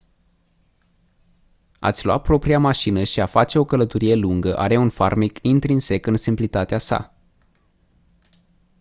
a-ți lua propria mașină și a face o călătorie lungă are un farmec intrinsec în simplitatea sa